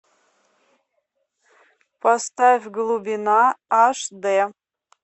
поставь глубина аш д